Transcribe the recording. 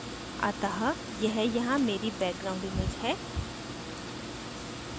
अतः यह यहाँ मेरी background image है